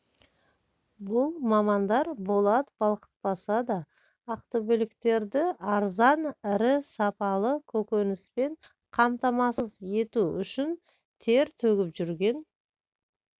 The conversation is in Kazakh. бұл мамандар болат балқытпаса да ақтөбеліктерді арзан рі сапалы көкөніспен қамтамасыз ету үшін тер төгіп жүрген